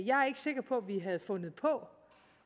sikker på at vi havde fundet på